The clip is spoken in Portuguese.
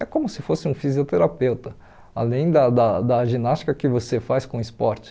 É como se fosse um fisioterapeuta, além da da da ginástica que você faz com esporte.